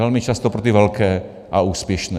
Velmi často pro ty velké a úspěšné.